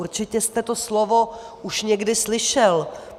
Určitě jste to slovo už někdy slyšel.